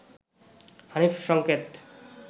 হানিফ সংকেত